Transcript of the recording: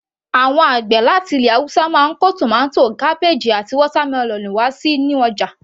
Àwọn àgbẹ̀ láti ilẹ̀ haúsá máa ń kó tomato, cabbage àti watermelon wá sínú ọjà